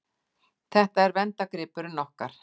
Þetta er verndargripurinn okkar.